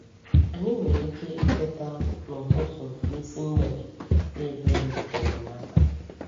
Anyị nwere ike ịteta “n’ụtụtụ n’isi mgbede” kpee ekpere maka enyemaka.